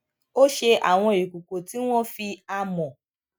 ó ṣe àwọn ìkòkò tí wón fi amò